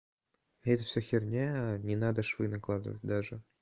это всё херня не надо швы накладывать даже